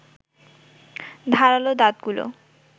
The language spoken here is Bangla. ধারালো দাঁতগুলো